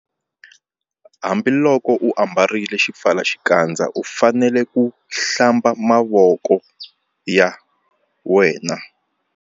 Hambiloko u ambarile xipfalaxikandza u fanele ku -Hlamba mavoko ya wena.